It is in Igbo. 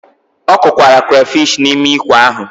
Ọ kụkwara crayfish n'ime ikwe ahụ.